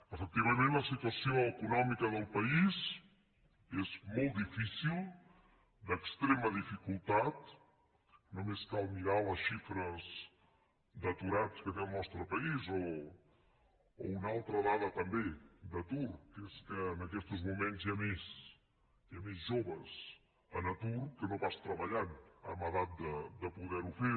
efectivament la situació econòmica del país és molt difícil d’extrema dificultat només cal mirar les xifres d’aturats que té el nostre país o una altra dada també d’atur que és que en aquestos moments hi ha més joves en atur que no pas treballant en edat de poder ho fer